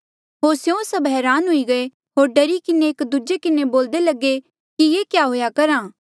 होर स्यों सभ हरान हुई गये होर डरी किन्हें एक दूजे किन्हें बोल्दे लगे कि ये क्या हुएया करहा